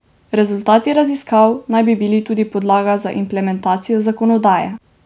Rezultati raziskav naj bi bili tudi podlaga za implementacijo zakonodaje.